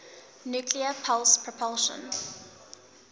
nuclear pulse propulsion